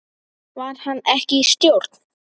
Var hann ekki í stjórn?